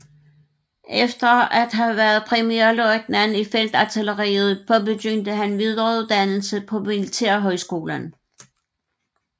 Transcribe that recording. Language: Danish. Efter at have været premierløjtnant i feltartilleriet påbegyndte han videreuddannelse på Militærhøjskolen